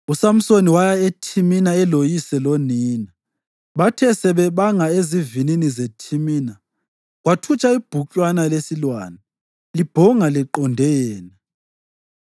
USamsoni waya eThimina eloyise lonina. Bathe sebebanga ezivinini zeThimina kwathutsha ibhuklwana lesilwane libhonga liqonde yena.